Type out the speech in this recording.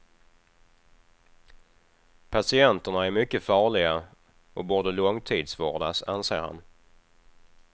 Patienterna är mycket farliga och borde långtidsvårdas, anser han.